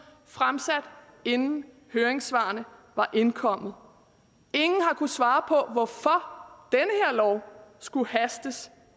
fremsat inden høringssvarene var indkommet ingen har kunnet svare på hvorfor denne lov skulle hastes